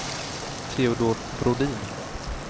Teodor Brodin